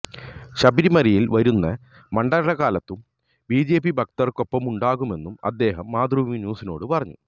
ശബരിമലയില് വരുന്ന മണ്ഡലകാലത്തും ബി ജെ പി ഭക്തര്ക്കൊപ്പമുണ്ടാകുമെന്നും അദ്ദേഹം മാതൃഭൂമി ന്യൂസിനോടു പറഞ്ഞു